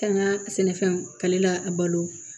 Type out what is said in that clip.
Kan ka sɛnɛfɛnw kalila a balo